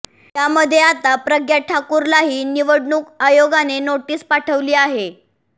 यामध्ये आता प्रज्ञा ठाकूरलाही निवडणूक आयोगाने नोटीस पाठवली आहे